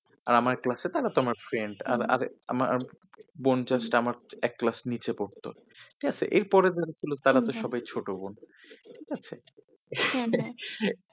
আর আমার ক্লাস এ তারা তোমার friend আর আগে আমার বোন just আমার এক ক্লাস নিচে পড়তো। ব্যাস এর পরের বাড়ে হল তারা তো সবাই ছোট বোন। ঠিক আছে হ্যাঁ